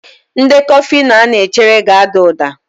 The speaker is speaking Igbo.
Ndekọ Fino a na-echere ga-ada uda.